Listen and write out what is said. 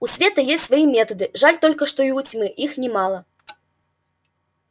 у света есть свои методы жаль только что и у тьмы их немало